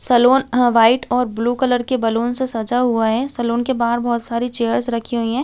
Salon a white और blue colour के balloon से सजा हुआ है सलून के बाहर बहुत सारी चेयर्स रखी हुई है।